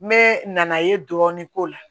N bɛ na i ye dɔɔnin k'o la